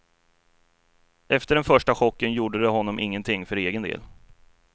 Efter den första chocken gjorde det honom ingenting för egen del.